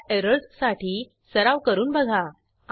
increment available copies ही method call करू